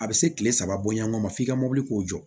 A bɛ se tile saba bɔɲɔgɔn ma f'i ka mobili k'o jɔ